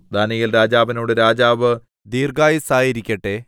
ദാനീയേൽ രാജാവിനോട് രാജാവ് ദീർഘായുസ്സായിരിക്കട്ടെ